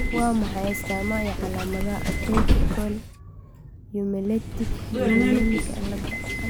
Waa maxay astamaha iyo calaamadaha Atypical hemolytic uremic ciladha